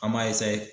An b'a